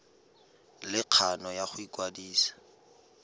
le kgano ya go ikwadisa